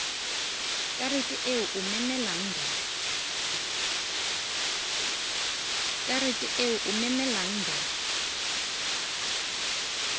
karete eo o memelang ba